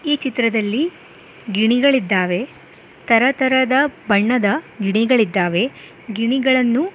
ಈ ಚಿತ್ರದಲ್ಲಿ ಗಿಣಿಗಳಿದ್ದಾವೆ ತರತರದ ಬಣ್ಣದ ಗಿಳಿಗಳಿದ್ದಾವೆ ಗಿಣಿಗಳನ್ನು--